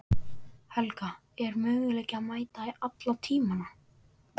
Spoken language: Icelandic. Helga: En er möguleiki að mæta í alla tímana?